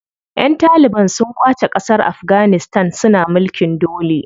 Ƴan taliban su ƙwace ƙasar Afganistan suna mulkin dole.